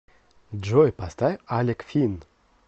джой поставь алек фин